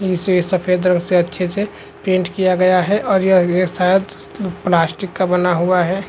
इसे सफ़ेद रंग से अच्छे से पैंट किया गया है और यह यह शायद प्लास्टिक का बना हुआ है ।